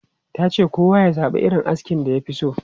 Ta ce kowa ya zaba irin askin da ya fi so.